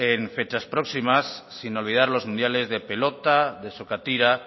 en fechas próximas sin olvidar los mundiales de pelota de sokatira